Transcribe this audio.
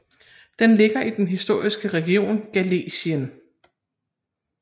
Den ligger i den historiske region Galicien